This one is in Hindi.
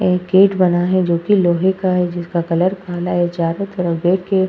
एक गेट बना है जो कि लोहे का है जिसका कलर काला है। चारों तरफ गेट के